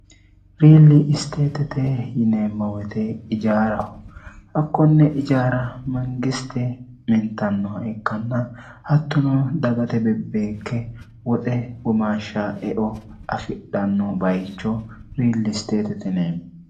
riilli isteetite yineemma woyte ijaaraho hakkonni ijaara mangisti mintannoha ikkanna hattuno dagate bebbeekke woxe womaashsha eo afidhanno bayicho riilli isteetitine